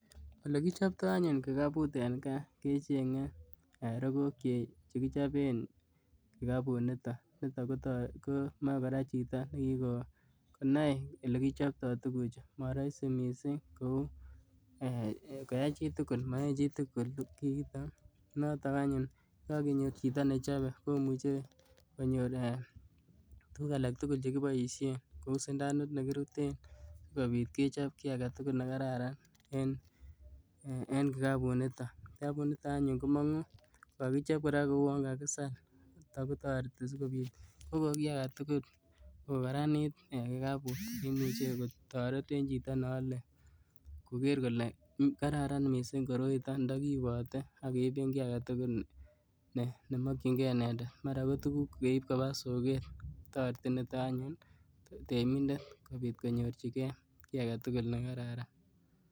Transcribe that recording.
Olekichoptoo anyun kikabu en gaa eeh kechenge rogook chekichopen kikabu niton, nito koto komoi koraa jito nekikonai lekichoptoo tukujuu moroisi missing eeh koyaa chitukul, moyoe chitukul kiitok notk anyun yekokenyor chito nejobe komuche koyor eehtukuk alak tukul chekiboishen, kou sundanu nekiboishen sikenyor kit agetukuk nekararan en kikabu niton, kikabu nitok anyun komongu kokokichop koraa kouwon kakisal ako toreti sikobit koko kii aketukul kokararanit eeh kikabut neimuche kotoret en jito ne ole koker kole karara missing koroitok ndokiibote ak keiben kii agetukul nemokin gee inendet maraa kotukuk keib koba soket toreti nitin anyun temindet kobii konyorji gee kii nekararan.